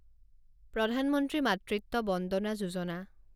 প্ৰধান মন্ত্ৰী মাতৃত্ব বন্দনা যোজনা